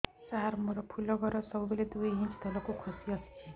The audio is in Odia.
ସାର ମୋର ଫୁଲ ଘର ସବୁ ବେଳେ ଦୁଇ ଇଞ୍ଚ ତଳକୁ ଖସି ଆସିଛି